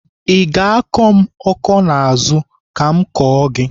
I ga-akọ m ọkọ n'azụ ka m kọọ gị?